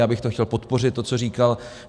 Já bych to chtěl podpořit, to, co říkal.